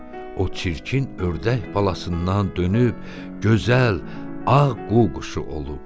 o çirkin ördək balasından dönüb gözəl, ağ qu-quşu olub.